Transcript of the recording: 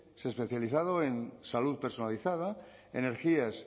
especializado en salud personalizada energías